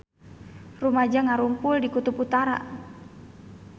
Rumaja ngarumpul di Kutub Utara